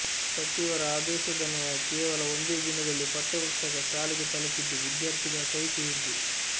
ಸಚಿವರ ಆದೇಶದನ್ವಯ ಕೇವಲ ಒಂದೇ ದಿನದಲ್ಲಿ ಪಠ್ಯ ಪುಸ್ತಕ ಶಾಲೆಗೆ ತಲುಪಿದ್ದು ವಿದ್ಯಾರ್ಥಿಗಳ ಕೈ ಸೇರಿದೆ